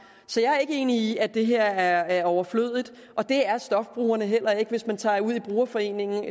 så jeg er ikke enig i at det her er overflødigt og det er stofbrugerne heller ikke hvis man tager ud i brugerforeningen